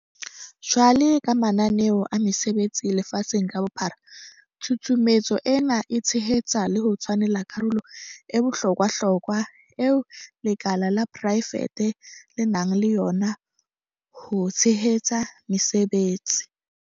Jwalo ka mananeo a mesebetsi lefatsheng ka bophara, tshusumetso ena e tshehetsa le ho tshwanela karolo e bohlo kwahlokwa eo lekala la porae fete le nang le yona ho theheng mesebetsi.